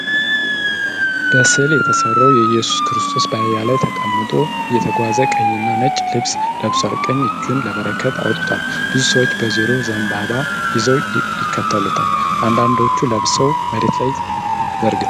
በሥዕል የተሠራው ኢየሱስ ክርስቶስ በአህያ ላይ ተቀምጦ እየተጓዘ ። ቀይና ነጭ ልብስ ለብሷል፣ ቀኝ እጁን ለበረከት አውጥቷል። ብዙ ሰዎች በዙሪያው ዘንባባ ይዘው ይከተሉታል ፤ አንዳንዶቹ ልብሳቸውን መሬት ላይ ዘርግተዋል።